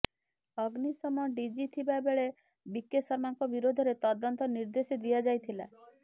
ଅଗ୍ନିଶମ ଡିଜି ଥିବା ବେଳେ ବିକେ ଶର୍ମାଙ୍କ ବିରୋଧରେ ତଦନ୍ତ ନିର୍ଦ୍ଦେଶ ଦିଆଯାଇଥିଲା